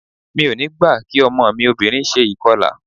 Mi ò ní gbà kí ọmọ mi obìnrin ṣe ìkọlà.